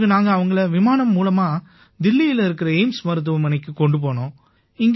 பிறகு நாங்க அவங்களை விமானம் மூலமா தில்லியில இருக்கற எய்ம்ஸ் மருத்துவமனைக்குக் கொண்டு போனோம்